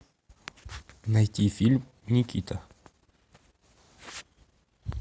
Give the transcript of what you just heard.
найти фильм никита